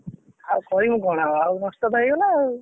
ଆଉ କହିବି କଣ ଆଉ? ନଷ୍ଟ ତ ହେଇଗଲା ଆଉ।